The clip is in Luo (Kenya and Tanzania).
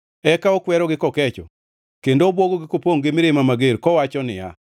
Eka okwerogi kokecho kendo obwogogi kopongʼ gi mirima mager, kowacho niya,